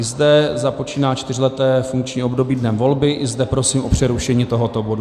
I zde započíná čtyřleté funkční období dnem volby, i zde prosím o přerušení tohoto bodu.